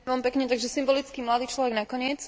Takže symbolicky mladý človek nakoniec.